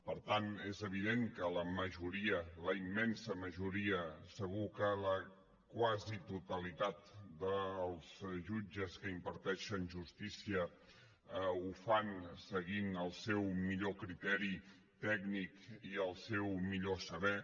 per tant és evident que la majoria la immensa majoria segur que la quasi totalitat dels jutges que imparteixen justícia ho fan seguint el seu millor criteri tècnic i el seu millor saber